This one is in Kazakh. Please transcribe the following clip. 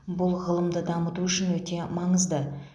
бұл ғылымды дамыту үшін өте маңызды